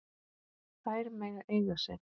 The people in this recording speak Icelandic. Þær mega eiga sig.